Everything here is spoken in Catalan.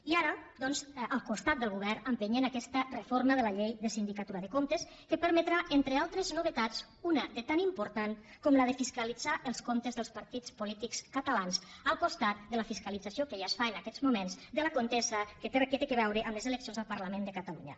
i ara doncs al costat del govern empenyent aquesta reforma de la llei de la sindicatura de comptes que permetrà entre altres novetats una de tan important com la de fiscalitzar els comptes dels partits polítics catalans al costat de la fiscalització que ja es fa en aquests moments de la contesa que té a veure amb les eleccions al parlament de catalunya